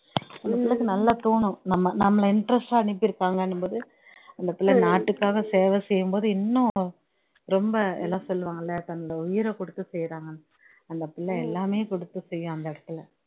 அந்த பிள்ளைக்கு நல்லா தோணும் நாம நம்மல interest ஆ அனுப்பியிருக்காங்கனும்போது அந்த பிள்ள நாட்டுக்காக சேவை செய்யும்போது இன்னும் ரொம்ப எல்லாம் சொல்லுவாங்கல்ல தன்னோட உயிரகுடுத்து செய்யுறாங்கன்னு அந்த பிள்ள எல்லாமே குடுத்துசெய்யும் அந்த இடத்துலே